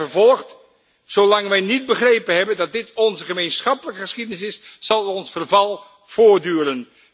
Zij vervolgt Zolang wij niet begrepen hebben, dat dit onze gemeenschappelijke geschiedenis is, zal ons verval voortduren.